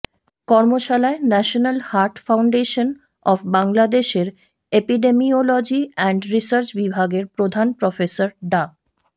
কর্মশালায় National Heart Foundation of বাংলাদেশের epidemiology and research বিভাগের প্রধান প্রফেসর ডা